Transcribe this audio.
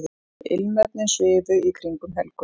Ilmefnin svifu í kringum Helgu.